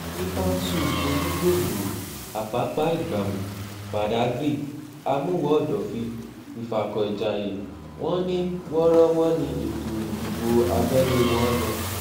ní kánṣu onígbòǹgbò apapa-ìgbàmù badà kyr àmuwò-òdòfin ifákọ̀ìjayé wọn ní wọ́ọ́rọ́wọ́ ni ètò ìdìbò abẹ́lé wọn lọ